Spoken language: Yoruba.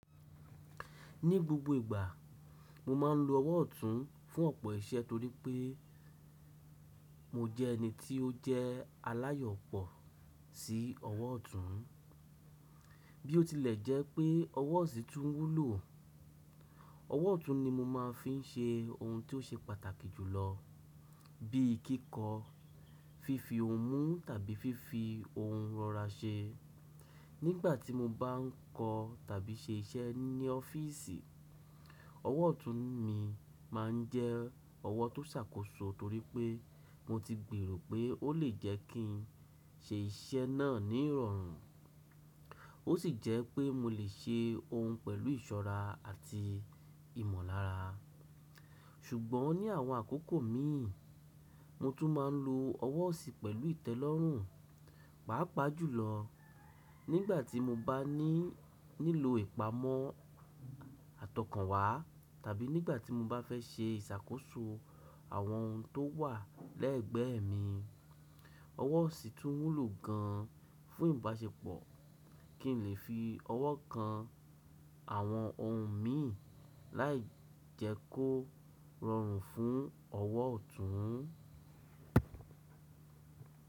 Ní gbogbo ìgbà, mo máa ń lo ọwọ́ ọ̀tún fún ọ̀pọ̀ iṣẹ́ torí pé mo jẹ́ ẹni tí ó jẹ́ aláyọ̀pọ̀ sí ọwọ́ ọ̀tún. Bí ó tilẹ̀ jẹ́ pé ọwọ́ ọ̀sí tún wúlò, ọwọ́ ọ̀tún ni mo máa ń fi ṣe ohun tó ṣe pàtàkì jùlọ bí i kíkọ, fífi ohun mú tàbí fífi ohun rọra ṣe. Nígbà tí mo bá ń kọ tàbí ṣe iṣẹ́ ní ọ́fíìsì, ọwọ́ ọ̀tún mi máa ń jẹ́ ọwọ́ tó ṣàkóso torí pé mo ti gbèrò pé ó lè jẹ́ kí n ṣe iṣẹ́ náà ní ìrọ̀rùn, ó sì jẹ́ pé mo lè ṣe ohun pẹ̀lú ìṣọ́ra àti ìmọ̀lára. Ṣùgbọ́n ní àwọn àkókò mi, mo tún máa ń lo ọwọ́ ọ̀sì pẹ̀lú ìtẹ́lọ́rùn, pàápàá jùlọ nígbà tí mo bá ní nílò ìpamọ́ àtọkànwá tàbí nígbà tí mo bá fẹ́ ṣe ìṣàkóso àwọn ohun tó wà lẹ́ẹ̀gbẹ́ mi. Ọwọ́ ọ̀sì tún wúlò gan fún ìbáṣepọ̀ kí n lè fi ọwọ́ kan àwọn ohun mi láì jẹ́ kó rọrùn fún ọwọ́ ọ̀tún.